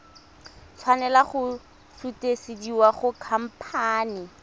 tshwanela go sutisediwa go khamphane